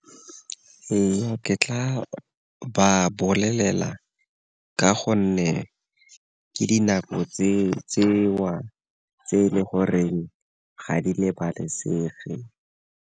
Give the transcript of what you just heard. Ee, ke tla ba bolelela ka gonne ke dinako tseo tse e le goreng ga di lebalesegeng.